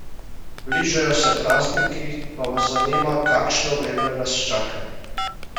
Bližajo se prazniki, pa vas zanima, kakšno vreme nas čaka?